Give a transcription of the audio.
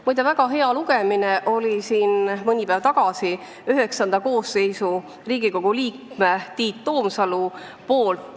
Muide, mõni päev tagasi avaldas selle kohta artikli Riigikogu IX koosseisu liige Tiit Toomsalu.